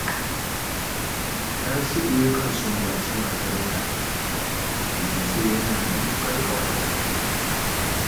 Tasi’u yakan sumbaci matarsa, ya ce yana matuƙar ƙaunar ta